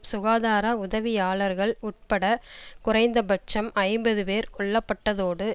சுகாதார உதவியாளர்கள் உட்பட குறைந்பட்சம் ஐம்பது பேர் கொல்ல பட்டதோடு